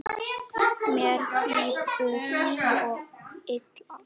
Mér líður svo illa